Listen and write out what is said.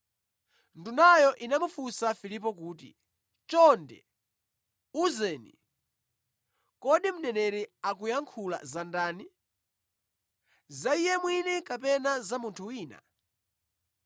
Ndunayo inamufunsa Filipo kuti, “Chonde, uzeni, kodi mneneri akuyankhula za ndani, za iye mwini kapena za munthu wina?”